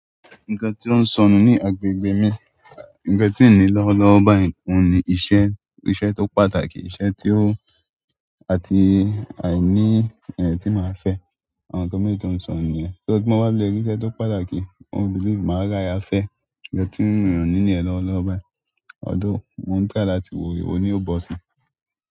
Nǹkan tí ó ń sọnù ní agbègbè mi, nǹkan tí n ní lọ́wọ́lọ́wọ́ bayi ni iṣẹ́, iṣẹ́ tó pàtàkì, iṣẹ́ tí ó àti àìní ẹni tí màá fẹ́, àwọn nǹkan méjì to ń sọnù niyẹn. So tí mo bá fi lè rí iṣẹ́ tó pàtàkì, mo belief màá rí aya fẹ́, nǹkan tí mi o ní níyẹ̀n lọ́wọ́lọ́wọ́ bayi, although mo n try láti wò, ewo ní ó bọ̀ sí.